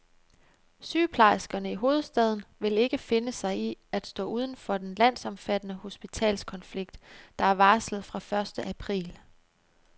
Sygeplejerskerne i hovedstaden vil ikke finde sig i at stå uden for den landsomfattende hospitalskonflikt, der er varslet fra første april.